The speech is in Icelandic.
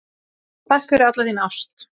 Takk fyrir alla þína ást.